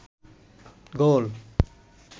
গোল